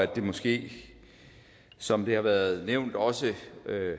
det måske som det har været nævnt også